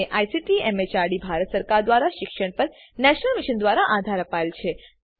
જેને ICT MHRD Bharat સરકાર મારફતે શિક્ષણ પર નેશનલ મિશન દ્વારા આધાર અપાયેલ છે